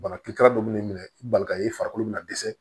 Bana kiri kara dɔ bɛ ne minɛ i balika ye farikolo bɛna dɛsɛ